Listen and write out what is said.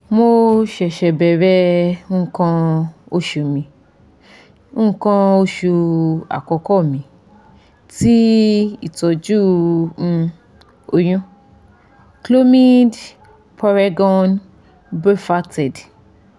mo se se bẹrẹ ikan osu ikan osu akoko mi ti itọju um oyun - clomid puregon brevactid